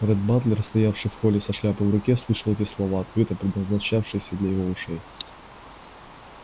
ретт батлер стоявший в холле со шляпой в руке слышал эти слова открыто предназначавшиеся для его ушей